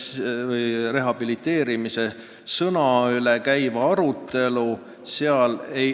Arutasime vaid "rehabiliteerimise" tähendust.